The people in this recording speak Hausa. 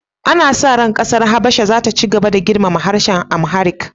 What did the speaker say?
Ana sa ran kasar Habasha za ta ci gaba da girmama harshen Amharic